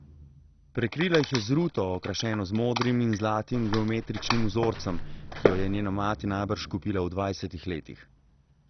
Prekrila jih je z ruto, okrašeno z modrim in zlatim geometričnim vzorcem, ki jo je njena mati najbrž kupila v dvajsetih letih.